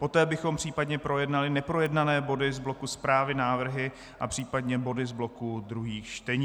Poté bychom případně projednali neprojednané body z bloku Zprávy, návrhy a případně body z bloku druhých čtení.